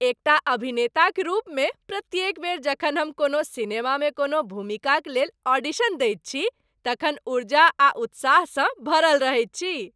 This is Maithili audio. एकटा अभिनेताक रूपमे प्रत्येक बेर जखन हम कोनो सिनेमामे कोनो भूमिकाक लेल ऑडिशन दैत छी तखन ऊर्जा आ उत्साहसँ भरल रहैत छी।